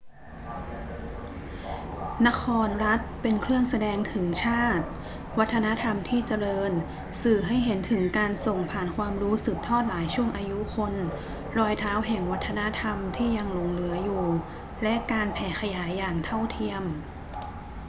นครรัฐเป็นเครื่องแสดงถึงชาติ วัฒนธรรมที่เจริญสื่อให้เห็นถึงการส่งผ่านความรู้สืบทอดหลายช่วงอายุคน รอยเท้าแห่งวัฒนธรรมที่ยังหลงเหลืออยู่ และการแผ่ขยายอย่างเท่าเทียม